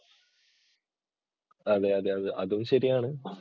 അതെ അതെ അതും ശരിയാണ്.